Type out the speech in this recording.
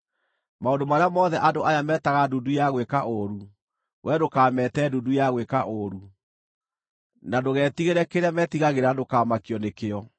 “Maũndũ marĩa mothe andũ aya metaga ndundu ya gwĩka ũũru, wee ndũkamete ndundu ya gwĩka ũũru; na ndũgetigĩre kĩrĩa metigagĩra, na ndũkamakio nĩkĩo.